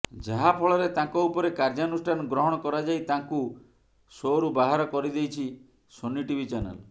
ଯାହାଫଳରେ ତାଙ୍କ ଉପରେ କାର୍ଯ୍ୟାନୁଷ୍ଠାନ ଗ୍ରହଣ କରାଯାଇ ତାଙ୍କୁ ଶୋରୁ ବାହାର କରିଦେଇଛି ସୋନି ଟିଭି ଚାନେଲ